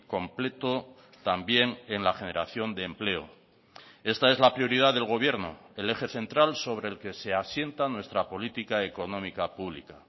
completo también en la generación de empleo esta es la prioridad del gobierno el eje central sobre el que se asienta nuestra política económica pública